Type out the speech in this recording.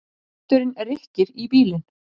Vindurinn rykkir í bílinn.